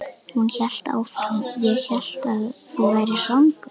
Hún hélt áfram: Ég hélt að þú værir svangur.